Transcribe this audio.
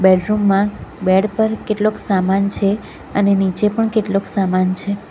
Bedroom માં bed પર કેટલોક સામાન છે અને નીચે પણ કેટલોક સામાન છે.